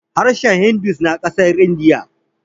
harshen hindu na kasar indiya